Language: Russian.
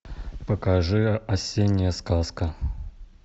покажи осенняя сказка